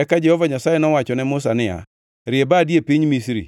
Eka Jehova Nyasaye nowacho ne Musa niya, “Rie badi e piny Misri